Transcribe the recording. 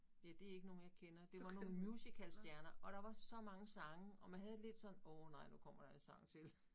Ja det ikke nogen jeg kender det var nogle musicalstjerner og der var så mange sange og man havde det sådan lidt åh nej nu kommer der en sang til